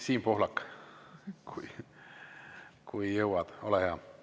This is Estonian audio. Siim Pohlak, kui jõuad, ole hea!